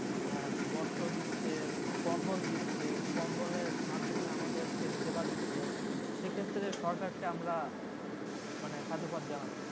আহ বস্ত্র দিচ্ছে কম্বল দিচ্ছে কম্বলের মাধ্যমে আমাদেরকে সেবা দিচ্ছে, সে ক্ষেত্রে সরকারকে আমরা মানে সাধুবাদ জানাচ্ছি